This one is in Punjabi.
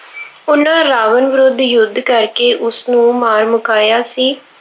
ਉਹਨਾ ਰਾਵਣ ਵਿਰੁੱਧ ਯੁੱਧ ਕਰਕੇ ਉਸਨੂੰ ਮਾਰ ਮੁਕਾਇਆ ਸੀ।